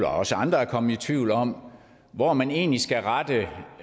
og også andre er kommet i tvivl om hvor man egentlig skal rette